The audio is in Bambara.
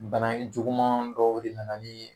Bana juguman dɔw de nana ni